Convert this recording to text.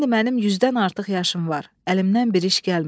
İndi mənim yüzdən artıq yaşım var, əlimdən bir iş gəlmir.